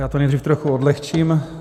Já to nejdřív trochu odlehčím.